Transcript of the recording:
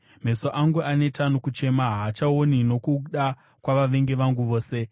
Meso angu aneta nokuchema; haachaoni nokuda kwavavengi vangu vose.